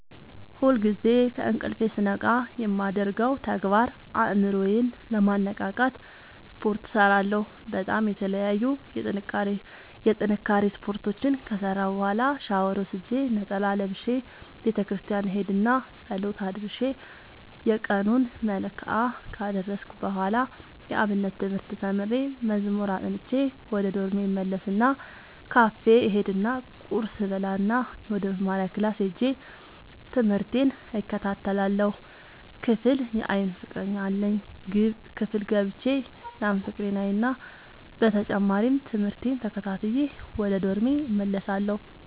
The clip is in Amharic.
ሁልጊዜ ከእንቅልፎ ስነቃ የማደርገው ተግባር አእምሮ ዬን ለማነቃቃት ስፓርት እሰራለሁ በጣም የተለያዩ የጥንካሬ ስፓርቶችን ከሰራሁ በኋላ ሻውር ወስጄ ነጠላ ለብሼ ቤተክርስቲያን እሄድ እና ፀሎት አድርሼ የየቀኑን መልክአ ካደረስኩ በኋላ የአብነት ትምህርት ተምሬ መዝሙር አጥንቼ ወደ ዶርሜ እመለስ እና ካፌ እሄድ እና ቁርስ እበላእና ወደመማሪያክላስ ሄጄ ትምህቴን እከታተላለሁ። ክፍል የአይን ፍቀረኛ አለኝ ክፍል ገብቼ ያን ፍቅሬን አይና በተጨማሪም ትምህርቴን ተከታትዬ ወደ ዶርሜ እመለሳለሁ።